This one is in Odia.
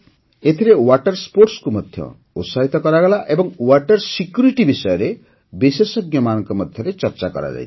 ଏଥିରେ ୱାଟର ସ୍ପୋର୍ଟସ୍ କୁ ମଧ୍ୟ ଉତ୍ସାହିତ କରାଗଲା ଏବଂ ୱାଟର ସିକ୍ୟୁରିଟି ବିଷୟରେ ବିଶେଷଜ୍ଞମାନଙ୍କ ମଧ୍ୟରେ ଚର୍ଚ୍ଚା କରାଯାଇଥିଲା